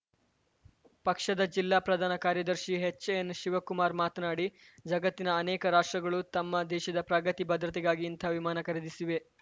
ಪಕ್ಷದ ಜಿಲ್ಲಾ ಪ್ರಧಾನ ಕಾರ್ಯದರ್ಶಿ ಎಚ್‌ಎನ್‌ಶಿವಕುಮಾರ ಮಾತನಾಡಿ ಜಗತ್ತಿನ ಅನೇಕ ರಾಷ್ಟ್ರಗಳೂ ತಮ್ಮ ದೇಶದ ಪ್ರಗತಿ ಭದ್ರತೆಗಾಗಿ ಇಂತಹ ವಿಮಾನ ಖರೀದಿಸಿವೆ